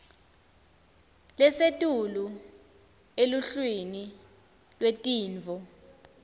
lesetulu eluhlwini lwetintfo